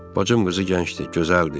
Bacım qızı gəncdir, gözəldir.